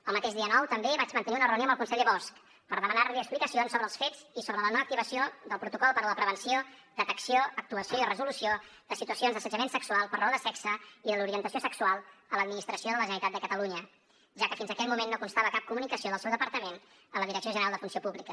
el mateix dia nou també vaig mantenir una reunió amb el conseller bosch per demanar li explicacions sobre els fets i sobre la no activació del protocol per a la prevenció detecció actuació i resolució de situacions d’assetjament sexual per raó de sexe i de l’orientació sexual a l’administració de la generalitat de catalunya ja que fins aquell moment no constava cap comunicació del seu departament a la direcció general de funció pública